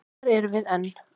Þar erum við enn.